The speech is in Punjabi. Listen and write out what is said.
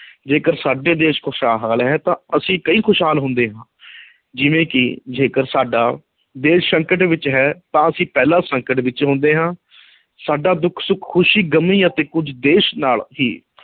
ਜੇਕਰ ਸਾਡਾ ਦੇਸ਼ ਖੁਸ਼ਹਾਲ ਹੈ ਤਾਂ ਅਸੀਂ ਖੁਸ਼ਹਾਲ ਹੁੰਦੇ ਹਾਂ ਜਿਵੇਂ ਕਿ ਜੇਕਰ ਸਾਡਾ ਦੇਸ਼ ਸੰਕਟ ਵਿੱਚ ਹੈ ਤਾਂ ਅਸੀਂ ਪਹਿਲਾਂ ਸੰਕਟ ਵਿੱਚ ਹੁੰਦੇ ਹਾਂ ਸਾਡਾ ਦੁੱਖ-ਸੁੱਖ, ਖੁਸ਼ੀ-ਗਮੀ ਅਤੇ ਕੁੱਝ ਦੇਸ਼ ਨਾਲ ਹੀ